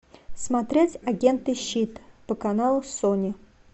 смотреть агенты щит по каналу сони